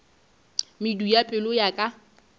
medu ya pelo ya ka